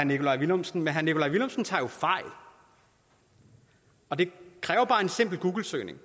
nikolaj villumsen men herre nikolaj villumsen tager jo fejl og det kræver bare en simpel googlesøgning